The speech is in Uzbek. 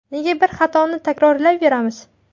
Nega bir xatoni takrorlayveramiz?